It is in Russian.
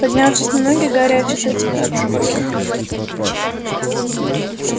поднявшись на ноги гарри ощутил себя однобоким